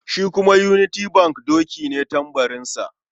Shi kuma union bank doki ne tambarinsa.